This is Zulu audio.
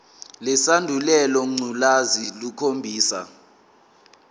lesandulela ngculazi lukhombisa